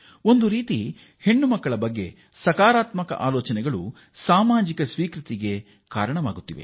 ಸಾಮಾಜಿಕವಾಗಿ ನಮ್ಮ ಹೆಣ್ಣು ಮಕ್ಕಳನ್ನು ಒಪ್ಪಿಕೊಳ್ಳುವ ಸಾಮಾಜಿಕ ಮನಃಸ್ಥಿತಿ ಮೂಡುತ್ತಿದೆ